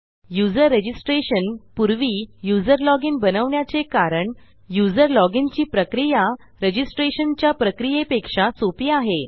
user registration पूर्वी user login बनवण्याचे कारण यूझर लॉजिन ची प्रक्रिया रजिस्ट्रेशन च्या प्रक्रियेपक्षा सोपी आहे